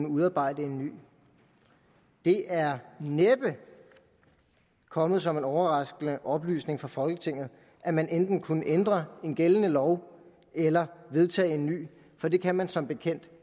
udarbejde en ny det er næppe kommet som en overraskende oplysning for folketinget at man enten kunne ændre en gældende lov eller vedtage en ny for det kan man som bekendt